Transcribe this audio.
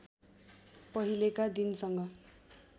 पहिलेका दिनसँग